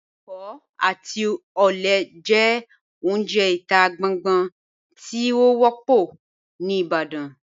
Ẹkọ àti ọlẹ jẹ ọ̀unje ita gbàngbà tí o wọ́pọ̀ ni Ìbàdàn.